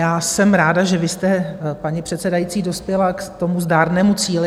Já jsem ráda, že vy jste, paní předsedající, dospěla k tomu zdárnému cíli.